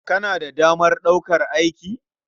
Kana da damar ɗaukar aiki?